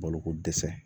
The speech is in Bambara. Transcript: Baloko dɛsɛ